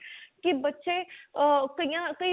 ਕੀ ਬੱਚੇ ਕੀਆਂ ਕਈ ਰੋਂਦੇ ਹੀ